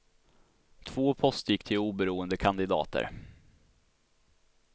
Två poster gick till oberoende kandidater.